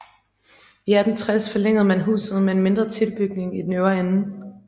I 1860 forlængede man huset med en mindre tilbygning i den øvre ende